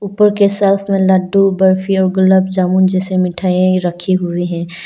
ऊपर के शेल्फ में लड्डू बर्फी और गुलाब जामुन जैसी मिठाईयां रखी हुई हैं।